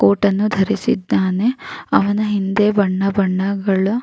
Coat ಅನ್ನು ಧರಿಸಿದ್ದಾನೆ. ಅವನ ಹಿಂದೆ ಬಣ್ಣ ಬಣ್ಣಗಳ --